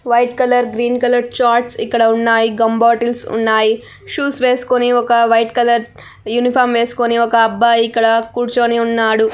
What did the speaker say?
White colour green colour charts ఇక్కడ ఉన్నాయి gum bottles ఇక్కడ ఉన్నాయి షూస్ వేసుకుని ఒక వైట్ కలర్ యూనిఫార్మ్ వేసుకుని ఒక అబ్బాయి ఇక్కడ కూర్చుని ఉన్నాడు.